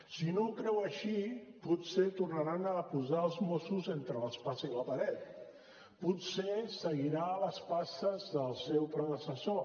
si no ho creu així potser tornaran a posar els mossos entre l’espasa i la paret potser seguirà les passes del seu predecessor